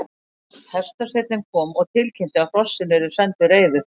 Hestasveinninn kom og tilkynnti að hrossin yrðu senn til reiðu.